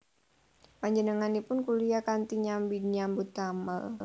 Panjenenganipun kuliyah kanthi nyambi nyambut damel